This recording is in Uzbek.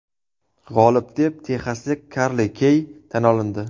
G‘olib deb texaslik Karli Xey tan olindi.